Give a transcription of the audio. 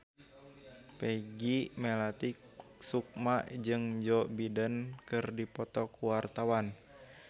Peggy Melati Sukma jeung Joe Biden keur dipoto ku wartawan